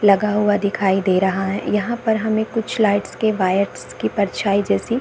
लगा हुआ दिखाई दे रहा है यहां पर हमें कुछ लाइट्स के वायर्स के परछाई जैसी --